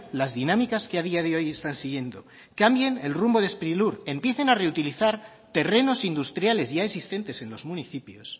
las dinámicas que a día de hoy están siguiendo cambien el rumbo de sprilur empiecen a reutilizar terrenos industriales ya existentes en los municipios